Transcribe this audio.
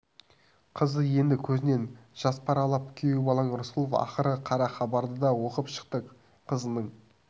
қызы енді көзінен жас парлап күйеу балаң рысқұлов ақыры қара хабарды да оқып шықты қызының